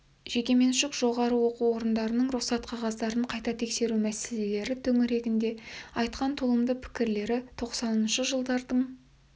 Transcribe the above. жекеменшік жоғары оқу орындарының рұқсат қағаздарын қайта тексеру мәселелері төңірегінде айтқан толымды пікірлері тоқсаныншы жылдардың